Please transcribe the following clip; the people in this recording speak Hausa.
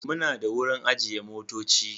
Muna da wurin ajiye motoci.